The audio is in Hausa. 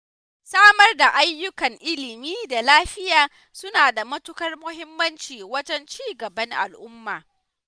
Samar da ayyukan ilimi da lafiya suna da matuƙar muhimmanci wajen cigaban al'umma.